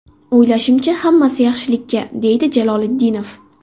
O‘ylashimcha, hammasi yaxshilikka”, deydi Jaloliddinov.